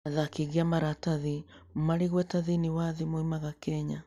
Athaki aingĩ a maratathi marĩ igweta thĩinĩ wa thĩ moimaga Kenya.